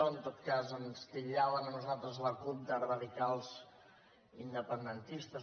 en tot cas ens titllaven a nosaltres la cup de radicals independentistes